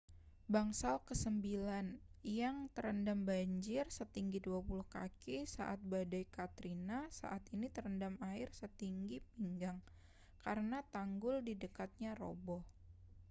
bangsal kesembilan yang terendam banjir setinggi 20 kaki saat badai katrina saat ini terendam air setinggi pinggang karena tanggul di dekatnya roboh